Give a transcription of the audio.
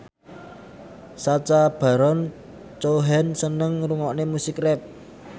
Sacha Baron Cohen seneng ngrungokne musik rap